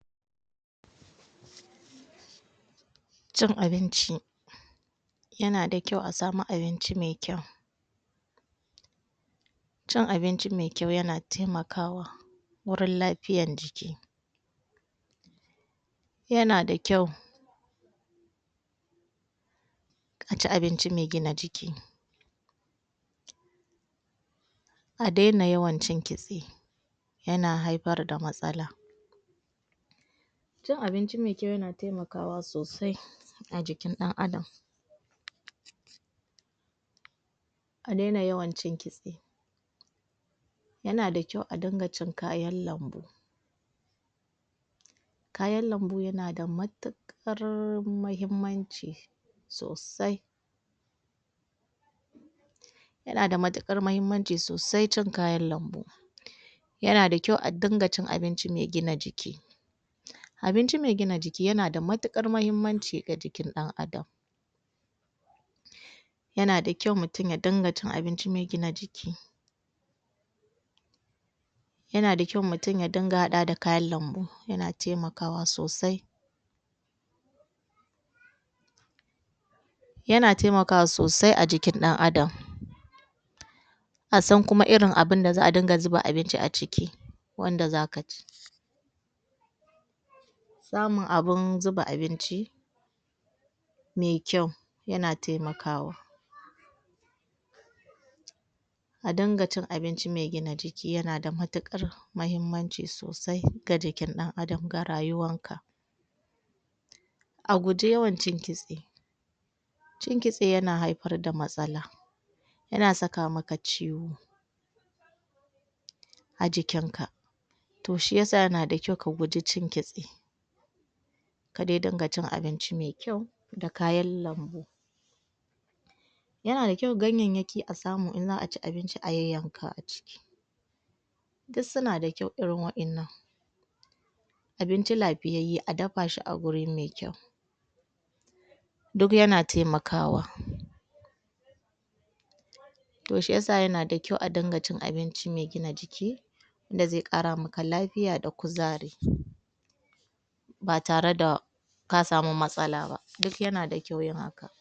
Cin abinci yana da kyau a samu abinci me kyau cin abinci me kyau yana temakawa wurin lafiyan jiki yana da kyau a ci abinci me gina jiki a dena yawan cin kitse yana haifar da matsala cin abinci me kyau yana temakawa sosai a jikin ɗan Adam a dena yawan cin kitse yana da kyau a din ga cin kayan lambu kayan lambu yana da matuƙar mahimmanci sosai yana da matuƙar mahimmanci ssosai cin kayan lambu yana da kyau a dinga cin abinci me gina jiki abinci me gina jiki yana da matuƙar mahimmanci ga jikin ɗan Adam yana da kyau mutum ya dinga cin abinci me gina jiki yana da kyau mutum ya dinga haɗawa da kayan lambu yana taimakawa sosai yana temakwa sosai a jikin ɗan Adam a san kuma irin abin da za a dinga zuba abinci a ciki wanda za ka ci samun abin zuba abinci me kyau yana temakawa a dinga cin a binci me gina jiki yana da matuƙara mahimmanci sosai ga jikin ɗan Adam ga rayuwanka a guji yawan cin kitse cin kitse yana haifara da matsala yana saka maka ciwo a jikinka to shi ya sa yana da kyau ka guji cin kitse ka de dinga cin abinci me kyau da kayan lambu yana da kyau ganyayyaki a samu in za a ci abinci a yayyanka a ciki duk suna da kyau irin waƴannan abinci lafiyayye a dafa shi a guri me kyau duk yana temakawa to shi yasa yana da kyau a dinga cin abinci me gina jiki da ze ƙara maka lafiya da kuzari ba tare da ka samu matsala ba